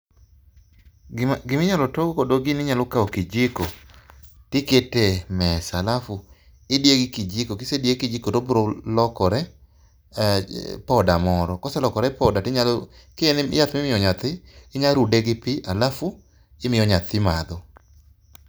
Gima giminyalo togo kodo gini inyalo kaw kijiko tikete e mesa alafu idiye gi kijiko, kisediye gi kijiko tobro lokore um poda moro. Koselokore poda tinyalo, ki en yath mimiyo nyathi, inyarude gi pii, alafu imiyo nyathi madho